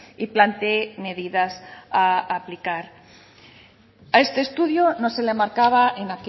y plantee medidas a aplicar a este estudio no se le marcaba en